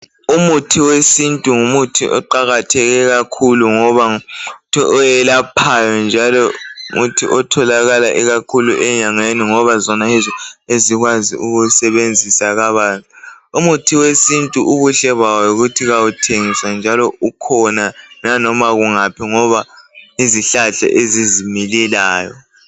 Umuthi wesintu ngumuthi oqakatheke kakhulu ngoba ngumuntu oyelaphayo njalo ngumuthi otholakala kakhulu enyangeni ngoba zona yizo ezikwazi ukuwusebenzisa kabanzi umuthi wesintu ubuhle bawo yikuthi kawuthengiswa njalo ukhona naloba kungaphi ngoba yizihlahla ezizimilelayo